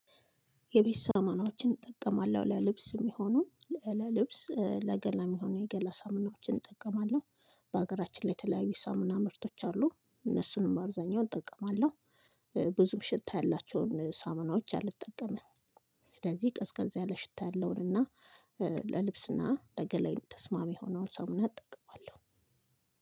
የቤት ሳሙናዎችን እጠቀማለሁ ለልብስ የሚሆኑ ለልብስ ለገላ የሚሆኑ የገላ ሳሙናዎችን እጠቀማለሁ። በሀገራችን ላይ የተለያዩ የሳምና ምርቶች አሉ እነሱንም በአብዛኛውን እጠቀማለሁ። ብዙም ሽታ ያላቸውን ሳመናዎች አልጠቀምም። ስለዚህ ቀዝቃዛ ያለ ሽታ ያለውን እና ለልብስና ለገላዬ ተስማሚ የሆነውን ሳሙና እጠቀማለሁ።